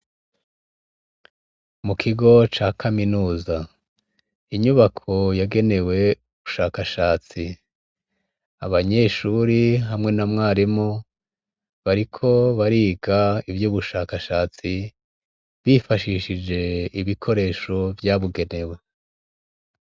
Mu kigo ca kaminuza. Inyubako yagenewe ubushakashatsi. Abanyeshure hamwe na mwarimu, bariko bariga ivy' ubushakashatsi, bifashishije ibikoresho vyabugenewe.